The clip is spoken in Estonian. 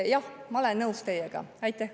Jah, ma olen teiega nõus.